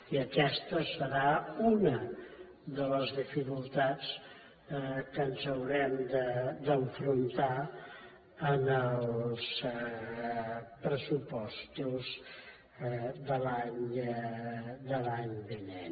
i aquesta serà una de les dificultats amb què ens haurem d’enfrontar en els pressupostos de l’any vinent